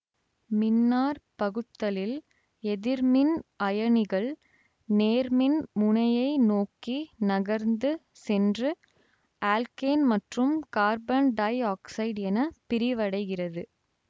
மின்னாற் பகுத்தலில் எதிர்மின் அயனிகள் நேர்மின் முனையை நோக்கி நகர்ந்து சென்று ஆல்கேன் மற்றும் கார்பன் டை ஆக்சைடு என பிரிவடைகிறது